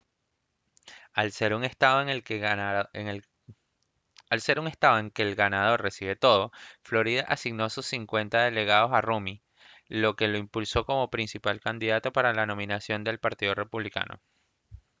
al ser un estado en que el ganador recibe todo florida asignó sus cincuenta delegados a rommey lo que lo impulsó como principal candidato para la nominación del partido republicano